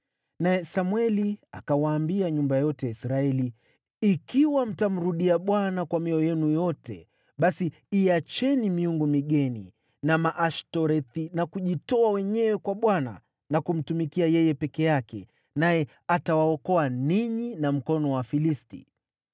Naye Samweli akawaambia nyumba yote ya Israeli, “Ikiwa mtamrudia Bwana kwa mioyo yenu yote, basi iacheni miungu migeni na Maashtorethi na kujitoa wenyewe kwa Bwana na kumtumikia yeye peke yake, naye atawaokoa ninyi na mkono wa Wafilisti.”